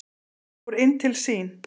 Hún fór inn til sín.